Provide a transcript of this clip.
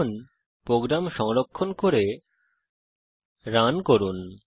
এখন প্রোগ্রাম সংরক্ষণ করে রান করুন